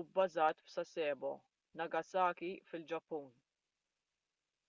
u bbażat f'sasebo nagasaki fil-ġappun